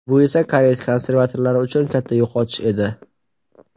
Bu esa koreys konservatorlari uchun katta yo‘qotish edi.